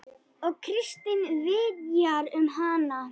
Og Kristín vitjar um hana.